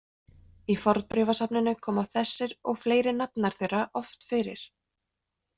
Í fornbréfasafninu koma þessir og fleiri nafnar þeirra oft fyrir.